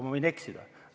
Ma võin eksida.